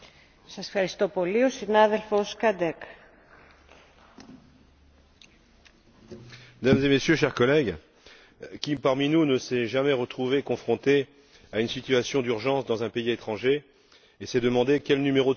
Monsieur le Président, Mesdames et Messieurs, chers collègues, qui, parmi nous, ne s'est jamais retrouvé confronté à une situation d'urgence dans un pays étranger et s'est demandé quel numéro de secours appeler?